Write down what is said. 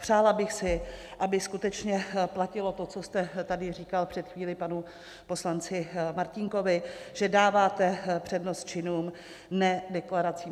Přála bych si, aby skutečně platilo to, co jste tady říkal před chvílí panu poslanci Martínkovi, že dáváte přednost činům, ne deklaracím.